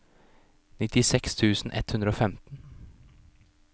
nittiseks tusen ett hundre og femten